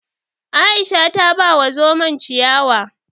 Aisha ta ba wa zomon ciyawa